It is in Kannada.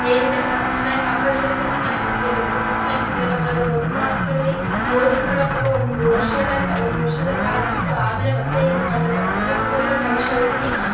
ಏನಿದ್ರೂ first rank compulsory first rank ಇರ್ಲೆ ಬೇಕು ಪಸ್ಟ್ ರ‍್ಯಾಂಕ ಇದ್ರೆ ಮಾತ್ರ ಒಂದ್ ಮಾರ್ಕ್ಸ್ ಲಿ ಹೋದ್ರು ಕೂಡ ಪಾಪ ಒಂದ್ ವರ್ಷ ಎಲ್ಲ ಒಂದ್ ವರ್ಷಎಲ್ಲ ಕಾದ್ಬಿಟ್ಟು ಆಮೇಲೆ ಮತ್ತೆ ಇದು ಮಾಡ್ಬೇಕ್ ಆಗ್ತದ್ದೆ ಅದುಕೊಸ್ಕರ ಕಮಿಷನರ್ ಹೋಗಿ --